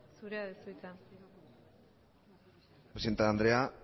zure da hitza presidente andrea